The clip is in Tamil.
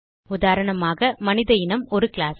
உதாரணமாக மனித இனம் ஒரு கிளாஸ்